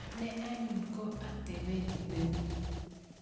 Ni anyun ko atepet neu.